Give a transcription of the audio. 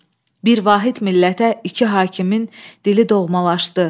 Bir vahid millətə iki hakimin dili doğmalaşdı.